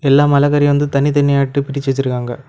எல்லா மலகரியு வந்து தனித்தனியா அட்டி பிரிச்சி வச்சிருக்காங்க.